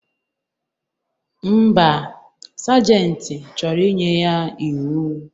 Ḿbà, sajenti chọrọ inye ya iwu.